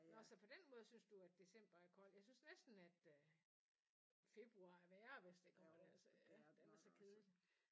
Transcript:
Når så på den måde synes du at december er kold? Jeg synes næsten at øh februar er værre hvis der kommer dertil den er så kedelig